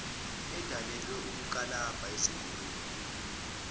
edalelwe ukukalabha izingulube